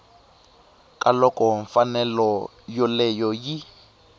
ka loko mfanelo yoleyo yi